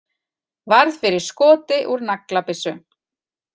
Varð fyrir skoti úr naglabyssu